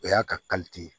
O y'a ka ye